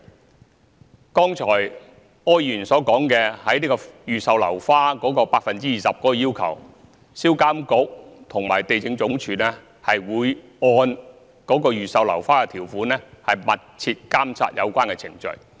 柯議員剛才提及預售樓花不能少於項目單位 20% 的要求，銷監局和地政總署會按預售樓花的條款，密切監察有關程序。